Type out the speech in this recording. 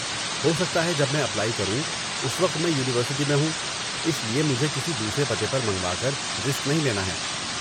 ہو سکتا ہے جب میں اپلائی کروں اس وقت میں یونیورسٹی میں ہوں، اس لیے مجھے کسی دوسرے پتے پر منگوا کر رسک نہیں لینا ہے۔